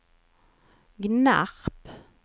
Gnarp